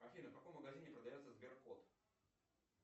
афина в каком магазине продается сберкот